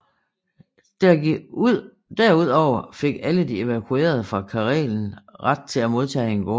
Der ud over fik alle evakuerede fra Karelen ret til at modtage en gård